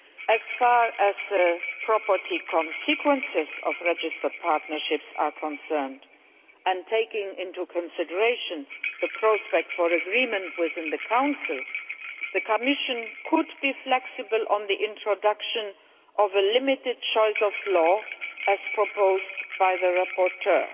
As far as property consequences of registered partnerships are concerned, and taking into consideration the prospect for agreement within the Council, the Commission could be prepared to be flexible on the introduction of a limited choice of law, as proposed by the rapporteur.